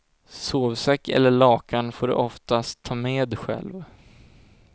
Sovsäck eller lakan får du oftast ta med själv.